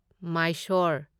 Mysore